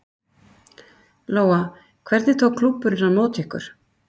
Lóa: Hvernig tók klúbburinn á móti ykkur?